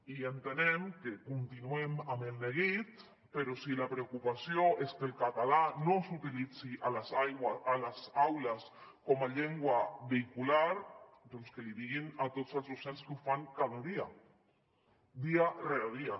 i entenem que continuem amb el neguit però si la preocupació és que el català no s’utilitzi a les aules com a llengua vehicular doncs que ho diguin a tots els docents que ho fan cada dia dia rere dia